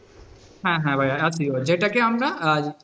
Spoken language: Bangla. হ্যাঁ হ্যাঁ ভাইয়া SEO যেটাকে আমরা,